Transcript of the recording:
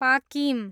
पाकिम